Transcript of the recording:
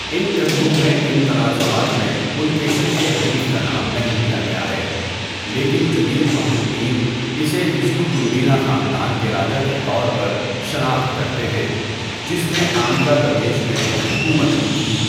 اِن کتبوں میں اِن تنازعات میں پُلکیشن کے حریف کا نام نہیں لیا گیا ہے، لیکن جدید محققین اسے وشنو کنڈینا خاندان کے راجا کے طور پر شناخت کرتے ہیں، جس نے آندھرا پردیش میں حکومت کی تھی۔